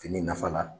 Fini nafa la